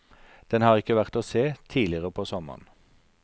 Den har ikke vært å se tidligere på sommeren.